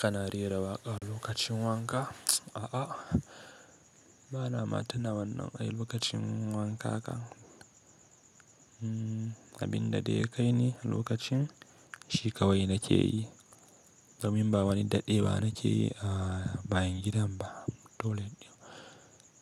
Kana rera waƙa lokacin wanka? A'a, bana ma tina wannan ai lokacin wanka ka. Abin da dai kai ne lokacin, shi kawai na ke yi. Domin ba wani daɗewa na ke yi a bayan gidan ba dole.